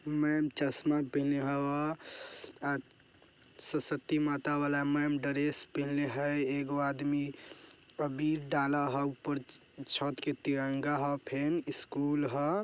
मैम चश्मा पेहने हव सरस्वती माता वाला मैम ड्रेस पहने हई एगो आदमी अबीर डाला हउ ऊपर छत के तिरंगा हा फेन स्कूल ह।